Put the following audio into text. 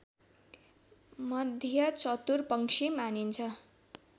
मध्ये चतुर पंक्षी मानिन्छ